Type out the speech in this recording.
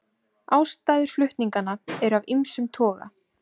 Ástæður flutninganna eru af ýmsum toga